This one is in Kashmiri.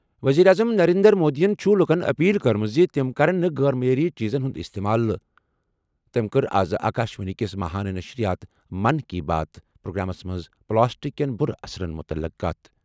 ؤزیٖرِ اعظم نَرینٛدر مودِین چُھ لُکن اپیل کٔرمٕژ زِ تِم کرَن نہٕ غٲر معیٲری چیٖزن ہُنٛد اِستعمال، تٔمۍ کٔر آز آکاشوانی کِس ماہانہ نشرِیات 'من کی بات' پروگرامس منٛز پلاسٹک کیٚن بُرٕ اثراتن مُتعلِق کَتھ۔